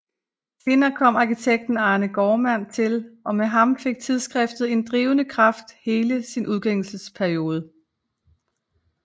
Senere kom arkitekten Arne Gaardmand til og med ham fik tidsskriftet en drivende kraft hele sin udgivelsesperiode